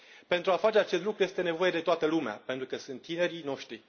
Pentru a face acest lucru, este nevoie de toată lumea, pentru că sunt tinerii noștri.